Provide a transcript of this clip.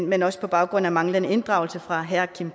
men også på baggrund af manglende inddragelse fra herre kim